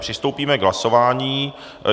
Přistoupíme k hlasování.